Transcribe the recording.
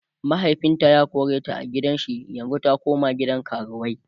mahaifinta ya koreta a gidan shi yanzun ta koma gidan karuwai